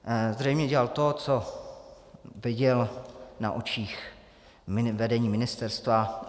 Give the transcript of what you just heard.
Zřejmě dělal to, co viděl na očích vedení ministerstva.